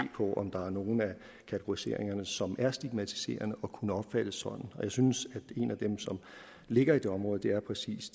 på om der er nogle af kategoriseringerne som er stigmatiserende og kunne opfattes sådan og jeg synes at en af dem som ligger i det område præcis